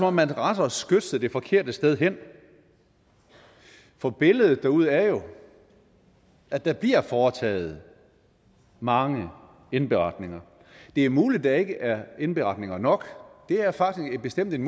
om man retter skytset det forkerte sted hen for billedet derude er jo at der bliver foretaget mange indberetninger det er muligt at der ikke er indberetninger nok det er faktisk bestemt en